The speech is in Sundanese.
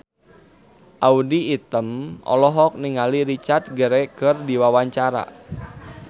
Audy Item olohok ningali Richard Gere keur diwawancara